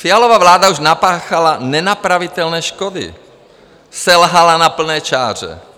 Fialova vláda už napáchala nenapravitelné škody, selhala na plné čáře.